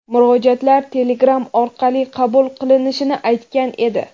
murojaatlar telegram orqali qabul qilinishini aytgan edi.